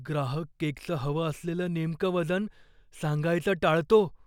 ग्राहक केकचं हवं असलेलं नेमकं वजन सांगायचं टाळतो.